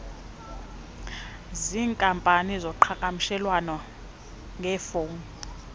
ziinkampani zoqhakamshelwano ngefowuni